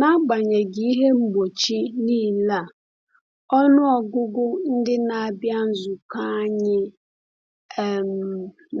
N’agbanyeghị ihe mgbochi niile a, ọnụ ọgụgụ ndị na-abịa nzukọ anyị um